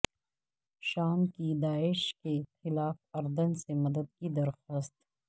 شام کی داعش کے خلاف اردن سے مدد کی درخواست